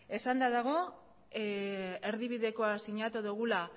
esan dago erdibidekoa sinatu dugula